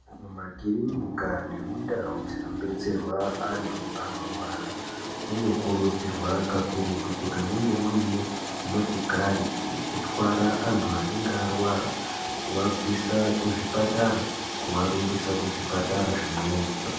Mumakirinikaa nemundau dzinobetserwa antu anorwara munokurudzirwa kakurutu kuti munge muine motikari yekutwara antu anenge arwara, kuabvisa kuzvipatara kuarumbisa kuzvipatara zvimweni.